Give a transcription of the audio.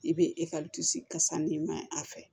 I bɛ kasa ɲimi maɲi a fɛ